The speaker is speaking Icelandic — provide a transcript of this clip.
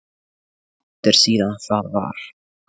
Hversu langt er síðan það var?